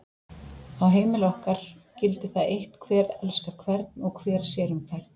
Á heimili okkar gildir það eitt hver elskar hvern og hver sér um hvern.